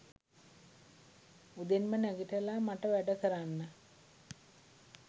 උදෙන්ම නැගිටලා මට වැඩ කරන්න